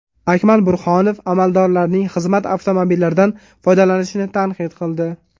Akmal Burhonov amaldorlarning xizmat avtomobillaridan foydalanishini tanqid qildi.